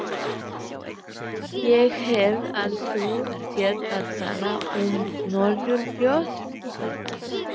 Þetta er sérlega algengt að kvöldlagi eftir dag þar sem bólstraský hafa verið ríkjandi.